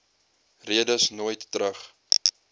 redes nooit terug